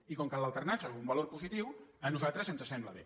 i com que l’alternança és un valor positiu a nosaltres ens sembla bé